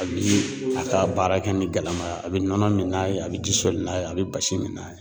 A bi a ka baara kɛ ni galaman ye a bɛ nɔnɔ min n'a ye a bɛ ji soli n'a ye a bɛ basi min n'a ye.